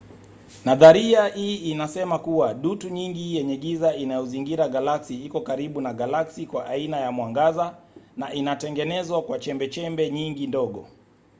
nadharia hii inasema kuwa dutu nyingi yenye giza inayozingira galaksi iko karibu na galaksi kwa aina ya mwangaza na inatengenezwa kwa chembechembe nyingi ndogo